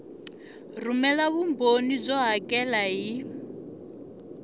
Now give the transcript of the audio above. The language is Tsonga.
rhumela vumbhoni byo hakela hi